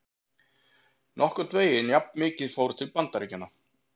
Nokkurn veginn jafnmikið fór til Bandaríkjanna.